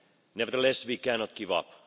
Nevertheless, we cannot give up.